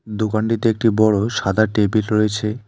দোকানটিতে একটি বড় সাদা টেবিল রয়েছে।